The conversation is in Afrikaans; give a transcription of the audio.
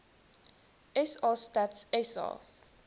sa stats sa